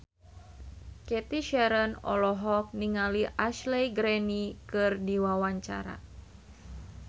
Cathy Sharon olohok ningali Ashley Greene keur diwawancara